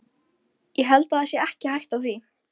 En einnig Eyjólfur virðist mér ekki sem hann sýnist.